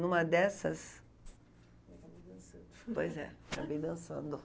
Numa dessas... Acabou dançando. Pois é, acabei dançando.